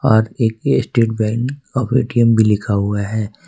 Bharti state bank of ATM भी लिखा हुआ है।